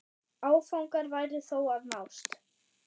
Áfangar væru þó að nást.